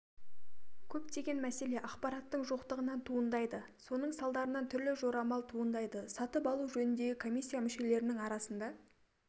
көптеген мәселе ақпараттың жоқтығынан туындайды соның салдарынан түрлі жорамал туындайды сатып алу жөніндегі комиссия мүшелерінің арасында